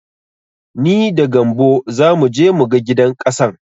Ni da gambo zamu je mu ga gidan ƙasan.